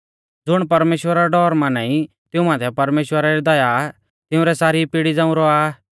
ज़ुण परमेश्‍वरा रौ डौर माना ई तिऊं माथै परमेश्‍वरा री दया तिंउरै सारी पिड़ी झ़ांऊ रौआ आ